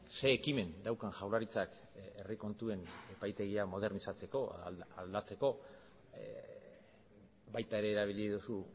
zein ekimen daukan jaurlaritzak herri kontuen epaitegia modernizatzeko aldatzeko baita ere erabili duzu